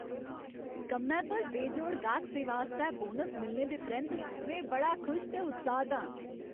कम्मै पर बेजोड़ गाह्क सेवा आस्तै बोनस मिलने दे परैंत्त में बड़ा खुश ते उत्साह्त आं।